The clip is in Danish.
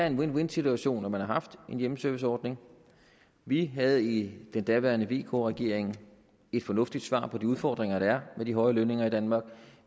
en win win situation at man har haft en hjemmeserviceordning vi havde i den daværende vk regering et fornuftigt svar på de udfordringer der er med de høje lønninger i danmark